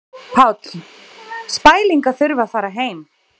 Páll: Spæling að þurfa að fara heim?